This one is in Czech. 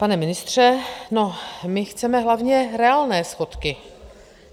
Pane ministře, no, my chceme hlavně reálné schodky.